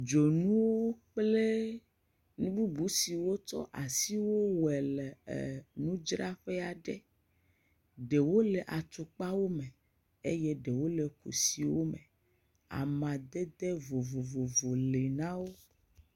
Dzonuwo kplenu bubu siwo ts asi wɔe le ɛɛ nudzraƒe aɖe. Ɖewo le atsukpawo me. eye ɖewo le kusiwo me. Amadede vovovowo le na wo.